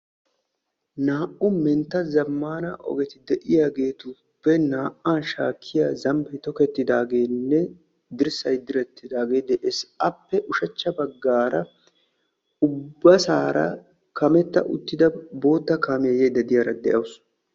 Naa'u mentta zamaana ogetti de'iyagettuppe naa'a shaakkiya dirssay de'ees. Appe ushshachhca bagaara bootta kaamiya yaydde diyaara de'awussu.